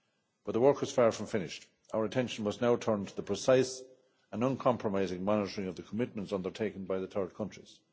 But the work is far from finished our attention must now turn to the precise and uncompromising monitoring of the commitments undertaken by the third countries.